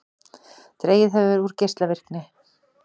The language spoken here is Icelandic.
Dregið hefur úr geislavirkni